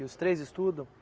E os três estudam?